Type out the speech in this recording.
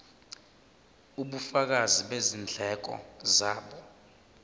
ubufakazi bezindleko zabo